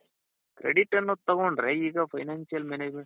credit ಅನ್ನೋದ್ ತಗೊಂಡ್ರೆ ಈಗ financial management